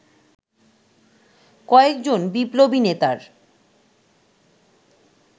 কয়েকজন বিপ্লবী নেতার